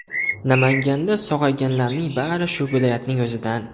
Namanganda sog‘ayganlarning bari shu viloyatning o‘zidan.